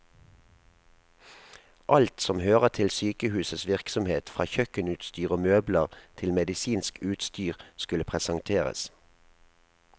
Alt som hører til sykehusets virksomhet, fra kjøkkenutstyr og møbler til medisinsk utstyr, skulle presenteres.